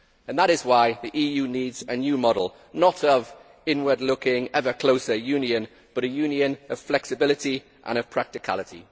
That is why the EU needs a new model, not of inward looking, ever closer union, but a union of flexibility and of practicality.